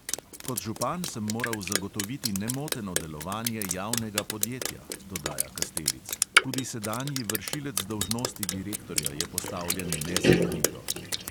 "Kot župan sem moral zagotoviti nemoteno delovanje javnega podjetja," dodaja kastelic, "tudi sedanji vršilec dolžnosti direktorja je postavljen nezakonito."